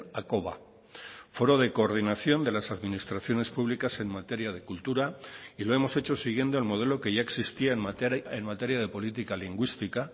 hakoba foro de coordinación de las administraciones públicas en materia de cultura y lo hemos hecho siguiendo el modelo que ya existía en materia de política lingüística